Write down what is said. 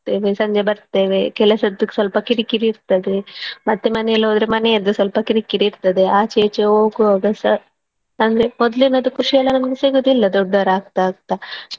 ಸಂಜೆ ಬರ್ತೇವೆ ಕೆಲಸದ್ದು ಸ್ವಲ್ಪ ಕಿರಿಕಿರಿ ಇರ್ತದೆ ಮತ್ತೇ ಮನೆಯಲ್ಲಿ ಹೋದ್ರೆ ಮನೆಯದ್ದು ಸ್ವಲ್ಪ ಕಿರ್ಕಿರಿ ಇರ್ತದೆ ಆಚೆ ಈಚೆ ಹೋಗುವಾಗ ಸ ಅಂದ್ರೆ ಮೊದ್ಲಿನದ್ದು ಖುಷಿಯೆಲ್ಲಾ ನಮ್ಗೆ ಸಿಗುದಿಲ್ಲ ದೊಡ್ಡವರು ಆಗ್ತಾ ಆಗ್ತಾ.